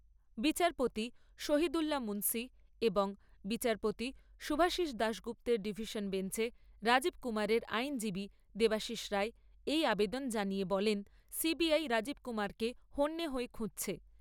বিচারপতি শহিদুল্লা মুন্সি এবং বিচারপতি শুভাশিষ দাশগুপ্তের ডিভিশন বেঞ্চে রাজীব কুমারের আইনজীবী দেবাশিস রায় এই আবেদন জানিয়ে বলেন, রাজীব কুমারকে হন্যে হয়ে খুঁজছে।